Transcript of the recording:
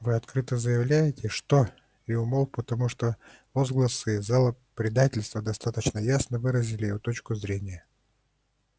вы открыто заявляете что и умолк потому что возгласы из зала предательство достаточно ясно выразили его точку зрения